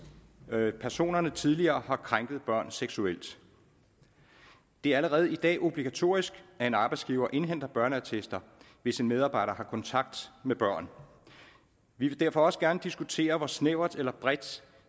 personerne tidligere har krænket børn seksuelt det er allerede i dag obligatorisk at en arbejdsgiver indhenter børneattester hvis en medarbejder har kontakt med børn vi vil derfor også gerne diskutere hvor snævert eller bredt